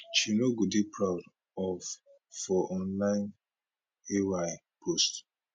she no go dey proud of for online ay post